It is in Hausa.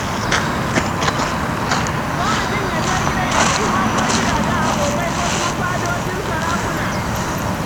Ko mutum ya je gidajen 'yan'uwa ko gidajen abokai ko kuma fadojin sarakuna.